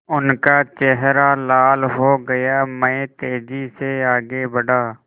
उनका चेहरा लाल हो गया मैं तेज़ी से आगे बढ़ा